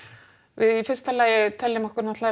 við í fyrsta lagi teljum okkur